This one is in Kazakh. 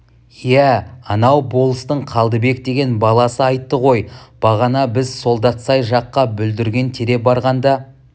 иә анау болыстың қалдыбек деген баласы айтты ғой бағана біз солдатсай жаққа бүлдірген тере барғанда